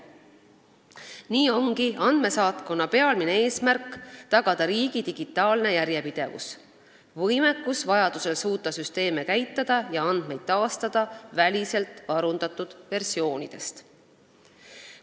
Nii ongi andmesaatkonna peamine eesmärk tagada riigi digitaalne järjepidevus ning võimekus suuta vajadusel süsteeme käitada ja andmeid taastada väliselt varundatud versioonide põhjal.